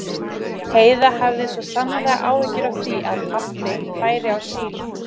Heiða hafði svo sannarlega áhyggjur af því að pabbi færi á síld.